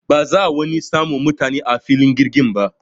Ba za'a wani samu mutane a filin jirgin ba.